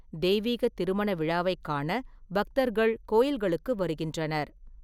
தெய்வீகத் திருமண விழாவைக் காண பக்தர்கள் கோயில்களுக்கு வருகின்றனர்.